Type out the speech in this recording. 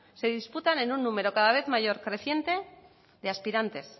se disputan en un número cada vez mayor creciente de aspirantes